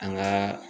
An gaa